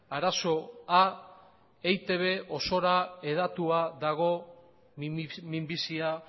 arazoa eitb osora hedatua dago minbizia